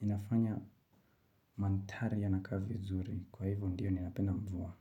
inafanya mandhari yanakaa vizuri. Kwa hivyo ndio ninapenda mvua.